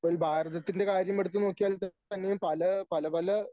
ഇപ്പോൾ ഭാരതത്തിൻ്റെ കാര്യം എടുത്തുനോക്കിയാൽ തന്നെയും പല പല പല